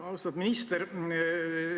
Austatud minister!